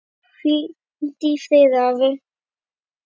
Hvíldu í friði, afi.